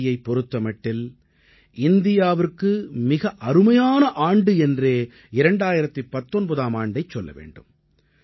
விண்வெளியைப் பொறுத்த மட்டில் இந்தியாவிற்கு மிக அருமையான ஆண்டு என்றே 2019ஆம் ஆண்டை சொல்ல வேண்டும்